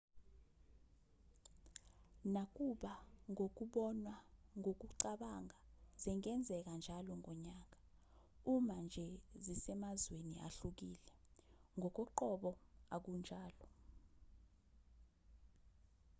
nakuba ngokubonwa ngokucabanga zingenzeka njalo ngonyaka uma nje zisemazweni ahlukile ngokoqobo akunjalo